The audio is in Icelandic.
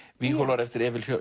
víghólar eftir Emil